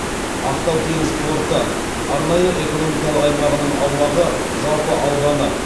ақтау теңіз порты арнайы экономикалық аймағының аумағы жалпы ауданы